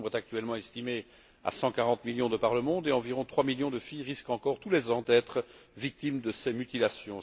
Ce nombre est actuellement estimé à 140 millions de par le monde et environ 3 millions de filles risquent encore, tous les ans, d'être victimes de ces mutilations.